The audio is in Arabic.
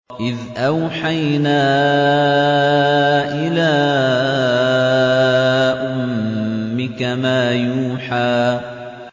إِذْ أَوْحَيْنَا إِلَىٰ أُمِّكَ مَا يُوحَىٰ